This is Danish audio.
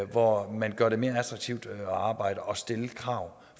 hvor man gør det mere attraktivt at arbejde og stille krav